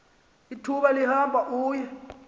ithuba lihamba uye